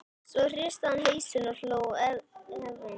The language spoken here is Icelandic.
Svo hristi hann hausinn og hló efins.